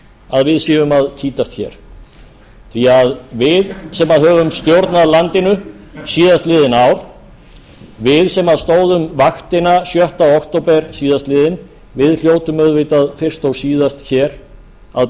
að við séum að kýtast hér því að við sem höfum stjórnað landinu síðastliðin ár við sem stóðum vaktina sjötta október síðastliðinn við hljótum auðvitað fyrst og síðast hér að